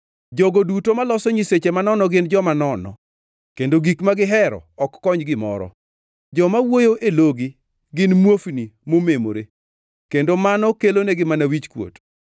Jogo duto maloso nyiseche manono gin joma nono, kendo gik ma gihero ok kony gimoro. Joma wuoyo e logi gin muofni momemore kendo mano kelonegi mana wichkuot.